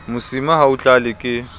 mosima ha o tlale ke